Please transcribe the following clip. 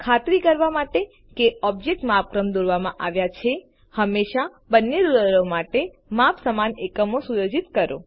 ખાતરી કરવા માટે કે ઓબ્જેક્ટો માપક્રમે દોરવામાં આવ્યા છે હંમેશા બંને રુલરો માટે માપનના સમાન એકમો સુયોજિત કરો